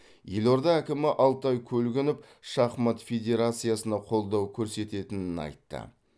елорда әкімі алтай көлгінов шахмат федерациясына қолдау көрсететінін айтты